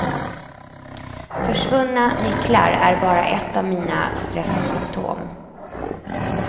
Försvunna nycklar är bara ett av mina stressymptom.